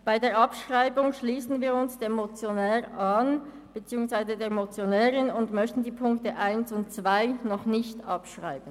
Bei der Abschreibung schliessen wir uns dem Motionär beziehungsweise der Motionärin an und möchten die Ziffern 1 und 2 noch nicht abschreiben.